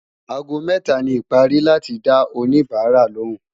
àgó méta ní pari láti dá òní bára lòún